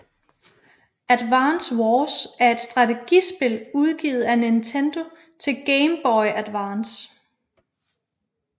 Advance Wars er et strategispil udgivet af Nintendo til Game Boy Advance